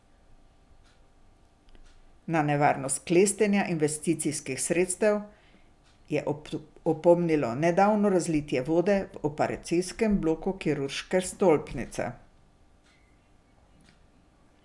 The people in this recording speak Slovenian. Na nevarnost klestenja investicijskih sredstev je opomnilo nedavno razlitje vode v operacijskem bloku kirurške stolpnice.